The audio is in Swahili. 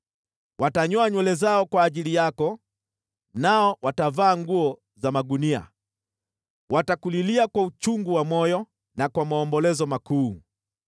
Watanyoa nywele zao kwa ajili yako, nao watavaa nguo za magunia. Watakulilia kwa uchungu wa moyo na kwa maombolezo makuu.